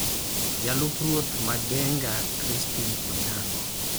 Jalup ruoth ma Genga, Crispin Onyango,